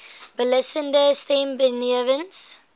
beslissende stem benewens